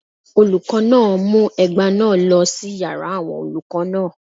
Olùkọ́ náà mú ẹgba náà lọ sí yàrá àwọn olùkọ́ náà